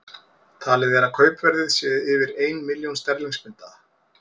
Talið er að kaupverðið sé yfir ein milljón sterlingspunda.